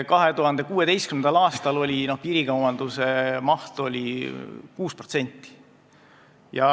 2016. aastal oli piirikaubanduse maht 6%.